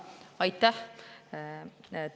Aitäh!